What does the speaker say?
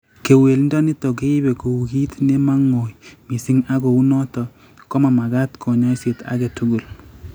Kewelindo nitok keibe kou kiit nemang'oi mising ak kounotok komamagat kanyoiset age tugul